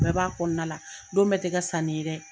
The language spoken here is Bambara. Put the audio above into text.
Ni bɛ b'a kɔnɔnala, don bɛ tɛ kɛ sani ye dɛ.